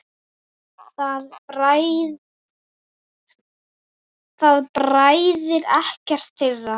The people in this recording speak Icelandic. Það bræðir ekkert þeirra.